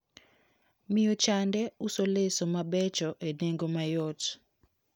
Miyo chande uso leso mabecho e nengo mayot.